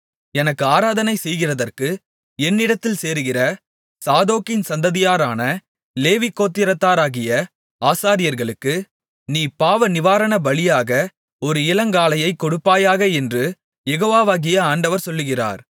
எனக்கு ஆராதனை செய்கிறதற்கு என்னிடத்தில் சேருகிற சாதோக்கின் சந்ததியாரான லேவி கோத்திரத்தாராகிய ஆசாரியர்களுக்கு நீ பாவநிவாரண பலியாக ஒரு இளங்காளையைக் கொடுப்பாயாக என்று யெகோவாகிய ஆண்டவர் சொல்லுகிறார்